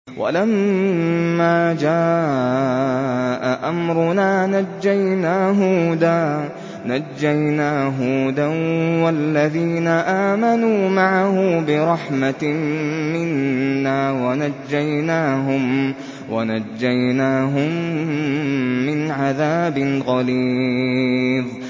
وَلَمَّا جَاءَ أَمْرُنَا نَجَّيْنَا هُودًا وَالَّذِينَ آمَنُوا مَعَهُ بِرَحْمَةٍ مِّنَّا وَنَجَّيْنَاهُم مِّنْ عَذَابٍ غَلِيظٍ